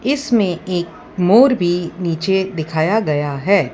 इसमें एक मोर भी नीचे दिखाया गया है।